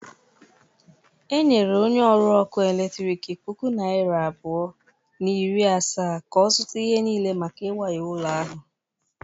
Enyere onye ọrụ ọkụ eletrik puku naịra abụọ na iri asaa ka ọ zụta ihe niile maka iwaya ụlọ ahụ.